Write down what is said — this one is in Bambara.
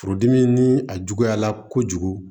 Furudimi ni a juguyala kojugu